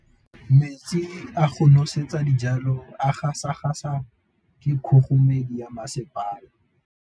Metsi a go nosetsa dijalo a gasa gasa ke kgogomedi ya masepala.